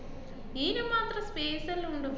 ഈനും മാത്രം space എല്ലാം ഉണ്ട്,